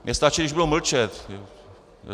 Mně stačí, když budou mlčet.